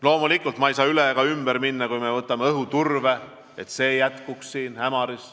Loomulikult ma ei saa üle ega ümber minna sellest, et me soovime õhuturbe jätkumist Ämaris.